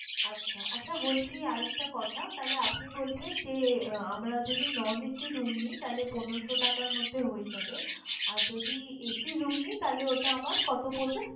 আচ্ছা, আচ্ছা বলছি আরেকটা কথা তাহলে আপনি বলছেন যে আমরা যদি non AC room নেই তাহলে পনেরশো টাকার মধ্যে হয়ে যাবে। আর যদি AC room নেই তাহলে ওটা আমার কতো পড়বে?